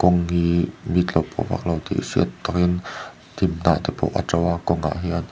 hnim hnah te pawh a to a kawngah hian.